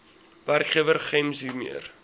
werkgewer gems hiermee